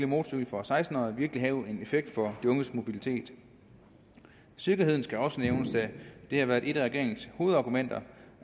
motorcykel for seksten årige virkelig have en effekt på de unges mobilitet sikkerheden skal også nævnes da det har været et af regeringens hovedargumenter